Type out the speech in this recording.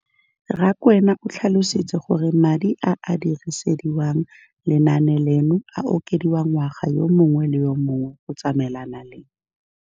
Rakwena o tlhalositse gore madi a a dirisediwang lenaane leno a okediwa ngwaga yo mongwe le yo mongwe go tsamaelana le